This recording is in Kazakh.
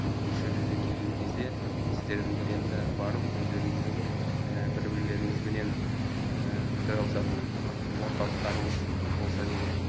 осы жерде де келген кезде сіздердің бір енді барып өздеріңіздің бір бірлеріңізбенен пікір алысатын орталықтарыңыз болса деген